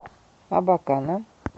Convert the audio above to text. абакана